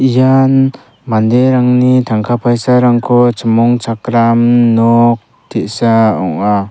ian manderangni tangka paisarangko chimongchakram nok te·sa ong·a.